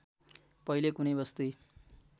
पहिले कुनै बस्ती